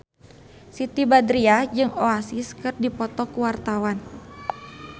Siti Badriah jeung Oasis keur dipoto ku wartawan